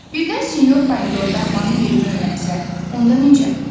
Birdən sinyor Pomidor daxmanın yerini öyrənsə, onda necə?